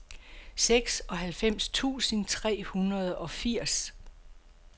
seksoghalvfems tusind tre hundrede og firs